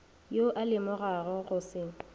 yo a lemogago go se